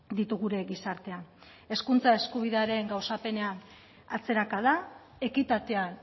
ditu gure gizartean hezkuntza eskubidearen gauzapenean atzerakada ekitatean